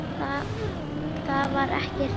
Þar var ekkert hik.